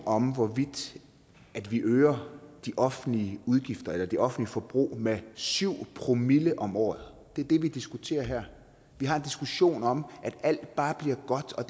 om hvorvidt vi øger de offentlige udgifter eller det offentlige forbrug med syv promille om året det er det vi diskuterer her vi har en diskussion om at alt bare bliver godt og